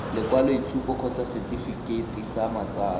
lekwaloitshupo kgotsa setefikeiti sa matsalo